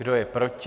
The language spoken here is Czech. Kdo je proti?